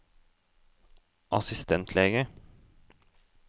assistentlege